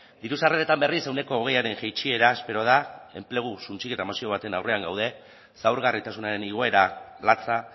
diru sarreretan berriz ehuneko hogeiaren jaitsiera espero da enplegu suntsiketa mozio baten aurrean gaude zaurgarritasunaren igoera latza